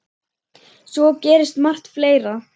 Svo gerist margt fleira.